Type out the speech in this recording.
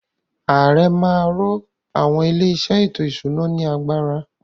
Ààrẹ má a ro àwọn “ ilé-iṣẹ́ ètò-ìṣúná ” ní agbára.